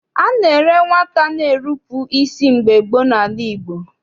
A na-ere nwata na-erupu isi mgbe gboo n'ala Igbo.